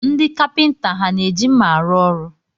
Ndị kapịnta ha na-eji nma arụ ọrụ?